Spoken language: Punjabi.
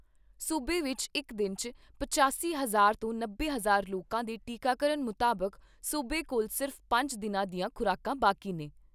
ਸੂਬੇ ਵਿਚ ਇਕ ਦਿਨ 'ਚ ਪਚਾਸੀ ਹਜ਼ਾਰ ਤੋਂ ਨੱਬੇ ਹਜ਼ਾਰ ਲੋਕਾਂ ਦੇ ਟੀਕਾਕਰਨ ਮੁਤਾਬਿਕ ਸੂਬੇ ਕੋਲ ਸਿਰਫ਼ ਪੰਜ ਦਿਨਾਂ ਦੀਆਂ ਖੁਰਾਕਾਂ ਬਾਕੀ ਨੇ।